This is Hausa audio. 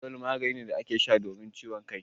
Fanadol magani ne da ake sha don ciwon kai